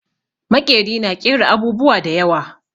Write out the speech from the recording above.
Maƙeri na ƙera abubuwa da yawa.